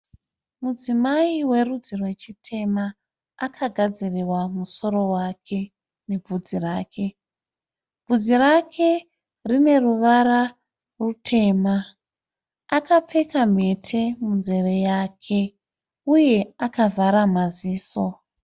Mudzimai werudzi rwechitema. Akagadzirirwa musoro wake nebvudzi rake. Bvudzi rake rine ruvara rutema. Akapfeka mhete munzeve yake uye akavhara maziso.